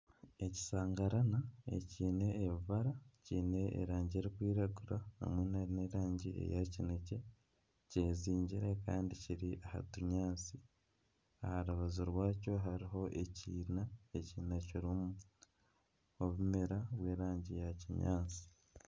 Ekisangarana ekyine ebibara kyine erangi erikwiragura hamwe na n'erangi eya kinekye kyezingire kandi kiri aha tunyaatsi aha rubaju rwakyo harimu ekiina, ekiina kirimu ebimera by'erangi ya kinyaatsi.